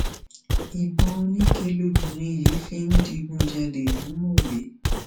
ìbọn oníke lobìnrin yìí fi ń digun jalè ní mòwe